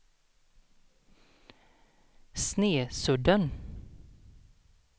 Snesudden